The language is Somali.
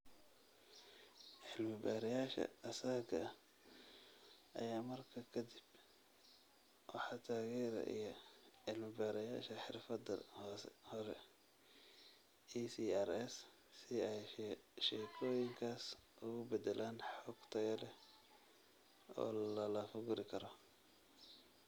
Cilmi-baarayaasha asaaga ah ayaa markaa ka dib waxaa taageeraya cilmi-baarayaasha xirfadda hore (ECRs) si ay sheekooyinkaas ugu beddelaan xog tayo leh oo la lafaguri karo.